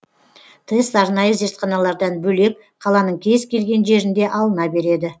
тест арнайы зертханалардан бөлек қаланың кез келген жерінде алына береді